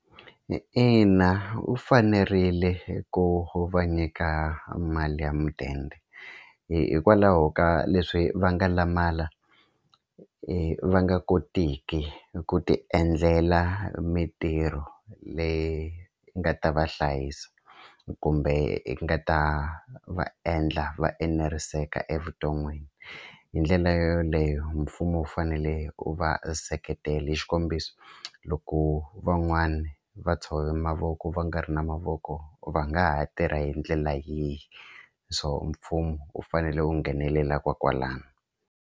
Ina u fanerile ku va nyika mali ya mudende hikwalaho ka leswi va nga lamala i va nga kotiki ku tiendlela mitirho leyi nga ta va hlayisa kumbe yi nga ta va endla va eneriseka evuton'wini hi ndlela yoleyo mfumo wu fanele wu va seketele xikombiso loko van'wani va tshove mavoko va nga ri na mavoko va nga ha tirha hi ndlela yihi so mfumo u fanele u nghenelela ko kwalano.